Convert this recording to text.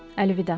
Əlvida.